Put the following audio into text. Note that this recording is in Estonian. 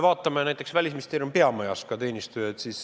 Vaatame näiteks Välisministeeriumi peamajas töötavaid teenistujaid.